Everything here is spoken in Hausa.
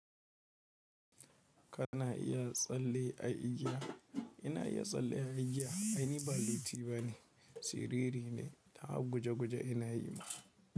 Kana iya tsalle a igiya? Ina iya tsalle a igiya. Ai ni balliti bane, siriri ne. Ta guje-guje ina yi ma.